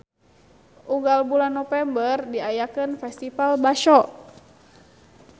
Unggal bulan Nopember diayakeun Festival Basho.